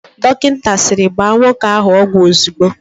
Dọkịta sịrị, "gbaa nwoke ahụ ọgwụ ozigbo"!